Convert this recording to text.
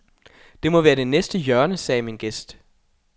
Det må være det næste hjørne, sagde min gæst.